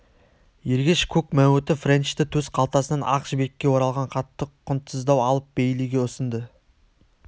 ергеш көк мәуіті френчтің төс қалтасынан ақ жібекке оралған хатты құнтсыздау алып бейлиге ұсынды